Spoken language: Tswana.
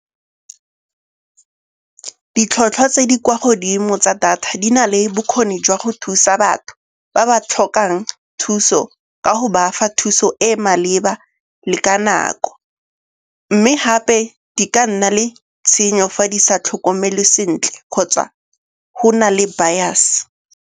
Ditlhotlhwa tse di kwa godimo tsa data di na le bokgoni jwa go thusa batho ba ba tlhokang thuso ka go bafa thuso e e maleba le ka nako. Mme gape di ka nna le tshenyo fa di sa tlhokomelwe sentle kgotsa go na le bias.